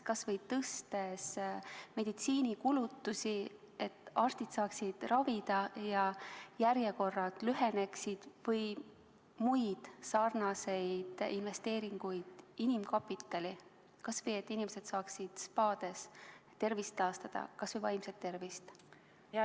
Näiteks tõstes meditsiinikulutusi, et arstid saaksid ravida ja järjekorrad lüheneksid või muid sarnaseid investeeringuid inimkapitali, et inimesed saaksid kas või spaades tervist taastada, kas või vaimset tervist?